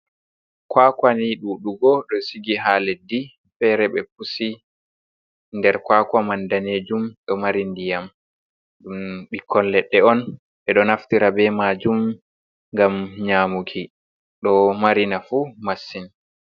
Kwakwa ni ɗuɗugo do sigi ha leɗɗi fere ɓe pusi nder kwakwa man danejum do mari ndiyam ɗum ɓikkon leɗɗe on ɓeɗo naftira be majum ngam nyamuki do mari nafu masin.